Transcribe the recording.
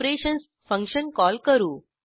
operations function call करू